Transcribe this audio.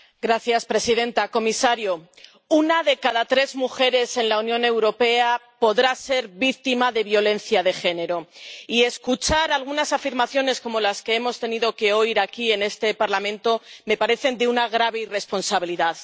Señora presidenta, señor comisario, una de cada tres mujeres en la Unión Europea podrá ser víctima de violencia de género. Y escuchar algunas afirmaciones como las que hemos tenido que oír aquí, en este Parlamento, me parecen de una grave irresponsabilidad.